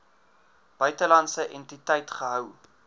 buitelandse entiteit gehou